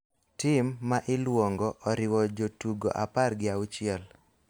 Tim ma iluongo oriwo jotugo apar gi auchiel